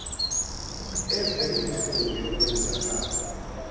eve intlungu yokwenzakala